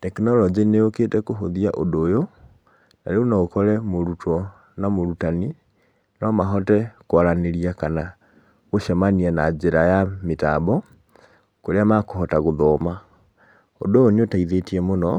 Tekinoronjĩ nĩ yũkĩte kũhũthia ũndũ ũyũ, tarĩu na ũkore mũrutwo na mũrutani no mahote kwaranĩria, kana gũcemania na njĩra ya mĩtambo, kũrĩa mekũhota gũthoma. Ũndũ ũyũ nĩ ũteithĩtie mũno,